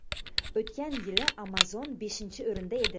O‘tgan yili Amazon beshinchi o‘rinda edi.